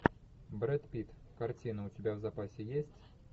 брэд питт картина у тебя в запасе есть